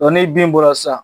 Dɔn ni den bɔra san